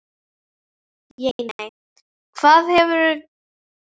Jane, hvað geturðu sagt mér um veðrið?